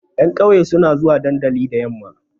Ƴan ƙauye suna zuwa dandali da yamma.